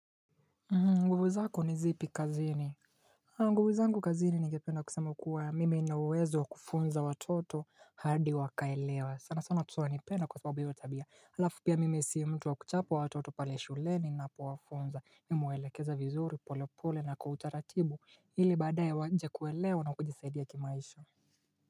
Nguvu zako ni zipi kazini nguvu zangu kazini ningependa kusema kuwa mimi nina uwezo kufunza watoto hadi wakaelewa sana sana watoto wanipenda kwa sababu hivyo tabia halafu pia mimi si mtu wa kuchapa watoto pale shuleni ninapo wafunza mimi huwaelekeza vizuri pole pole na kwa utaratibu ili badaye waje kuelewa na kujisaidia kimaisha.